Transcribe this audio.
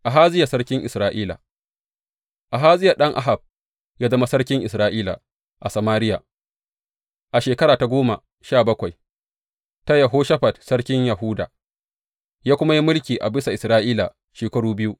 Ahaziya sarkin Isra’ila Ahaziya ɗan Ahab ya zama sarkin Isra’ila a Samariya a shekara ta goma sha bakwai ta Yehoshafat sarkin Yahuda, ya kuma yi mulki a bisa Isra’ila shekaru biyu.